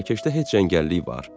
Mərakeşdə heç cəngəllik var?